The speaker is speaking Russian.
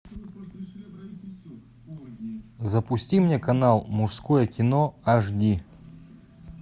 запусти мне канал мужское кино аш ди